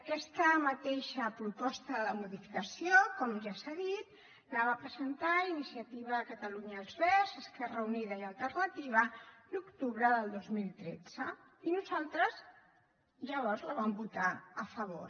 aquesta mateixa proposta de modificació com ja s’ha dit la va presentar iniciativa per catalunya verds esquerra unida i alternativa a l’octubre del dos mil tretze i nosaltres llavors hi vam votar a favor